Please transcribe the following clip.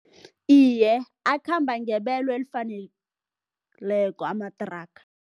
Iye, akhamba ngebelo elifaneleko amathraga.